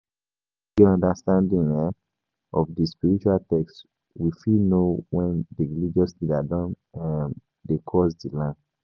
If we get understanding um of di spiritual text we fit know when di religious leader don um dey cross di line